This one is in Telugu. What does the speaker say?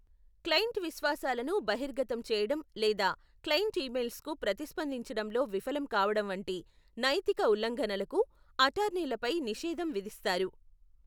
క్లయింట్ విశ్వాసాలను బహిర్గతం చేయడం లేదా క్లయింట్ ఇమెయిల్స్కు ప్రతిస్పందించడంలో విఫలం కావడం వంటి నైతిక ఉల్లంఘనలకు అటార్నీలపై నిషేధం విధిస్తారు.